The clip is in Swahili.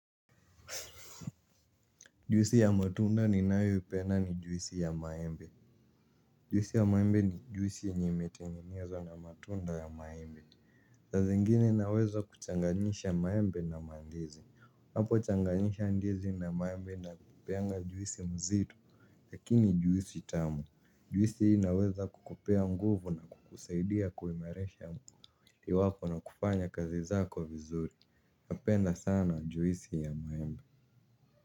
Juisi ya matunda ni nayoipenda ni juisi ya maembe. Juisi ya maembe ni juisi yenye imetengenezwa na matunda ya maembe saa zingine naweza kuchanganyisha maembe na mandizi unaapo changanisha ndizi na maembe ina kupeanga juisi mzito. Lakini juisi tamu. Juisi hii inaweza kukupea nguvu na kukusaidia kuimarisha mwili wako na kufanya kazi zako vizuri. Napenda sana juisi ya maembe.